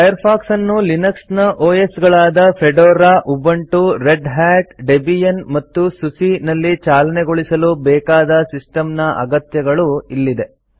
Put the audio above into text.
Firefox ಅನ್ನು Linux ನ OS ಗಳಾದ Fedora Ubuntu Red Hat Debian ಮತ್ತು ಸುಸಿ ನಲ್ಲಿ ಚಾಲನೆಗೊಳಿಸಲು ಬೇಕಾದ ಸಿಸ್ಟಂನ ಅಗತ್ಯಗಳು ಇಲ್ಲಿದೆ